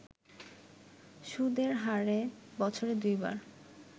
সুদের হারে বছরে দুইবার